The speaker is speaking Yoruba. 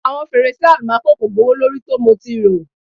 Awọn ferese almaco ko gbowolori ti mo ti ro